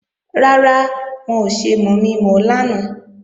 Rárá, wọn ò ṣe mọ̀mi-mọ̀ ọ lánàá